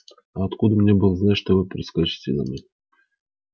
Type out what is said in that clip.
а откуда мне было знать что вы прискачете домой